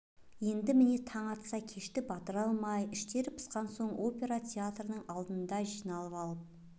енді міне таң атса кешті батыра алмай іштері пысқан соң опера театрының алдындағы жиналып алып